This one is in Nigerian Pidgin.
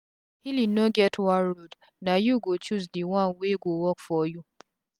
healing no get one road na u go choose d one wey go work for u